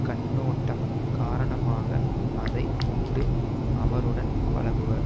கண்ணோட்டம் காரணமாக அதை உண்டு அவருடன் பழகுவர்